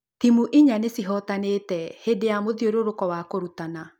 Timũ inya nĩcihotanĩte hĩndĩ ya mũthiũrũrũko wa kũrutana